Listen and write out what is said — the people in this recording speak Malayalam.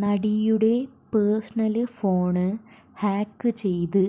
നടിയുടെ പേഴ്സണല് ഫോണ് ഹാക്ക് ചെയ്ത്